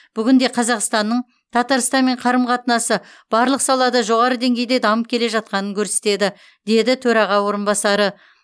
бүгінде қазақстанның татарстанмен қарым қатынасы барлық салада жоғары деңгейде дамып келе жатқанын көрсетеді деді төраға орынбасары